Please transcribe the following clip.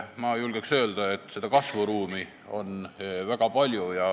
Ma julgen öelda, et kasvuruumi on väga palju.